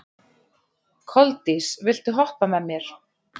Koldís, viltu hoppa með mér?